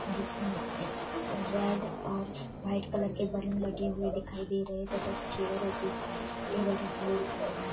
जिसमें एक रेड और व्हाइट कलर के बलून लगे हुए दिखाई दे रहे हैं तथा चेयर और कुर्सी टेबल रखे हुए दिखाई दे रहे --